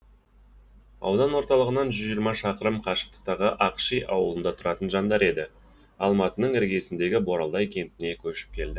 аудан орталығынан жүз жиырма шақырым қашықтықтағы ақши ауылында тұратын жандар енді алматының іргесіндегі боралдай кентіне көшіп келді